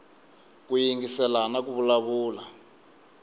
ku yingisela na ku vulavula